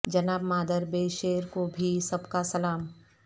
جناب مادر بے شیر کو بھی سب کا سلام